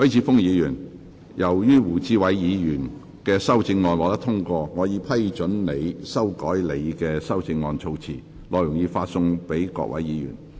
許智峯議員，由於胡志偉議員的修正案獲得通過，我已批准你修改你的修正案措辭，內容已發送各位議員。